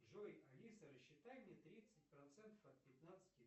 джой алиса рассчитай мне тридцать процентов от пятнадцати